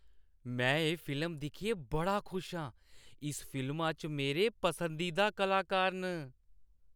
में एह् फिल्म दिक्खियै बड़ा खुश आं। इस फिल्मा च मेरे पसंदीदा कलाकार न।